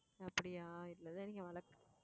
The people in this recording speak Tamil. அப்படியா